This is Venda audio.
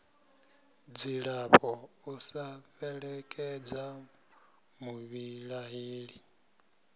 dzilafho u sa fhelekedza muvhilaheli